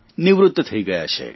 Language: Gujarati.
નિવૃત્ત થઇ ગયા છે